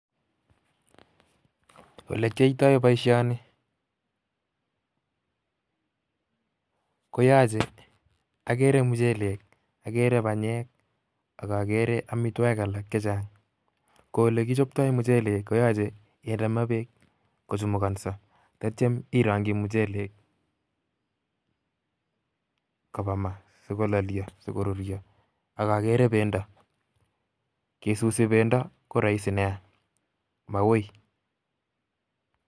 Olekiyoito boishoni koyoche, okere muchelek, okere banyek ak okere amitwokik alak chechang, koo elekichopto muchelek koyoche kinde maa Beek kochumukoso akityo irongyii muchelek kobaa maa sikololio sikoruryo ak okere bendo, ng'osusi bendo ko roisi neaa, mauui.